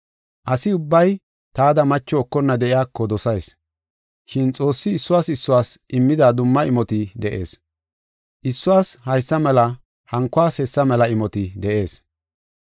Asi ubbay taada macho ekonna de7iyako dosayis, shin Xoossi issuwas issuwas immida dumma imoti de7ees. Issuwas haysa mela hankuwas hessa mela imoti de7ees.